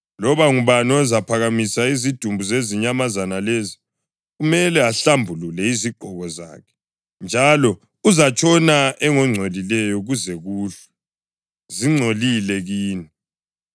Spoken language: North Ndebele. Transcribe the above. Loba ngubani ozaphakamisa izidumbu zezinyamazana lezi kumele ahlambulule izigqoko zakhe, njalo uzatshona engongcolileyo kuze kuhlwe. Zingcolile kini.